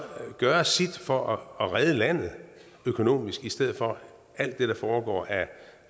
gøre sit for at redde landet økonomisk i stedet for alt det der foregår af